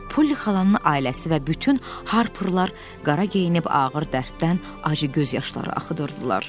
Polly xalanın ailəsi və bütün Harperlər qara geyinib ağır dərddən acı göz yaşları axıdırdılar.